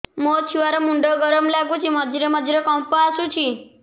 ମୋ ଛୁଆ ର ମୁଣ୍ଡ ଗରମ ଲାଗୁଚି ମଝିରେ ମଝିରେ କମ୍ପ ଆସୁଛି